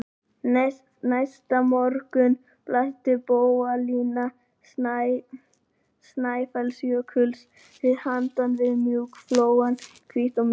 Næsta morgun blasti bogalína Snæfellsjökuls við handan við flóann, hvít og mjúk.